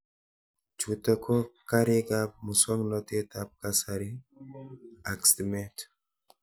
Chutok ko karik ab muswognatet ab kasari ak stimet